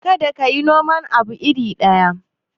Kada ka yi noman abu iri ɗaya.